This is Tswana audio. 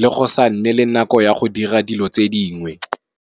le go sa nne le nako ya go dira dilo tse dingwe,